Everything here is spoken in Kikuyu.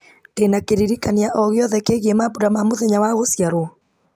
ndĩna kĩririkania o gĩothe kĩgiĩ mambura ma mũthenya wa gũciarwo